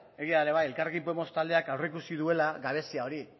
elkarrekin podemos taldeak aurreikusi duela gabezia hori